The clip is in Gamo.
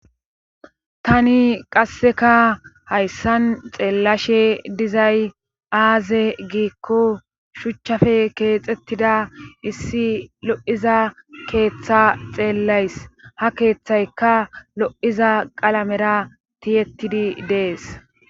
tani qasseka hayssan xeellashe dizay aaze giikko shuchchafe keexettida issi lo7iza keeththa xeellays ha keeththayka lo7iza qalamera tiyettidi dees